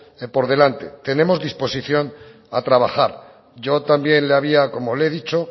por delante tenemos disposición a trabajar yo también le había como le he dicho